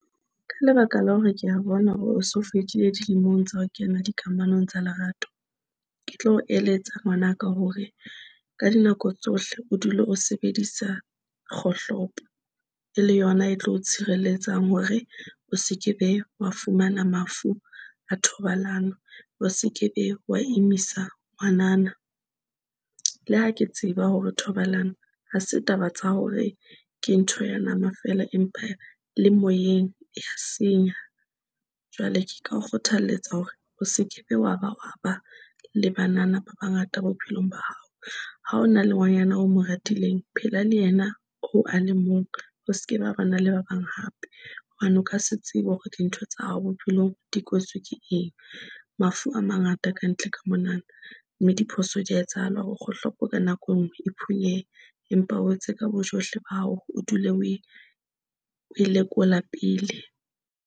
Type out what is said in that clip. Ka lebaka la hore ke a bona hore o so fetile dilemong tsa ho kena di kamanong tsa lerato. Ke tlo o eletsa ngwanaka hore ka dinako tsohle o dule o sebedisa kgohlopo e le yona e tlo tshireletsang hore o se kebe wa fumana mafu a thobalano, o se kebe wa imisa ngwanana. Le ha ke tseba hore thobalano ha se taba tsa hore ke ntho ya nama fela. Empa le moyeng e ya senya, jwale ke ka kgothaletsa hore o se kebe. Wa ba wa ba le banana ba bangata bophelong ba hao. Ha ho na le ngwanyana o mo ratileng phela le yena hoo a le mong. Ho se ka ba na le ba bang hape hobane o ka se tsebe hore dintho tsa hao bophelong di kwetswe ke eng. Mafu a mangata ka ntle ka monana, mme diphoso di a etsahala hore kgohlopo ka nako e nngwe e phunyehe. Empa o etse ka bojohle ba hao, o dule o e lekola pele.